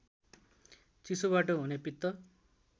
चिसोबाट हुने पित्त